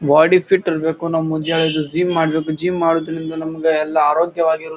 body fit ಇರಬೇಕು ನಾವ ಮುಂಜಾನೆ ಎದ್ದು ಜಿಮ್ ಮಾಡಬೇಕು ಜಿಮ್ ಮಾಡರಿಂದ ನಮ್ಗೆಲ್ಲಾ ಆರೋಗ್ಯವಾಗಿರು --